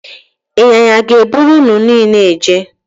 Ịnyịnya ga-eburu unu niile eje